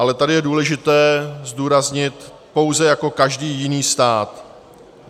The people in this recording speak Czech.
Ale tady je důležité zdůraznit - pouze jako každý jiný stát.